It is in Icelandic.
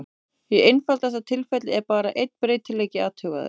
Í einfaldasta tilfelli er bara einn breytileiki athugaður.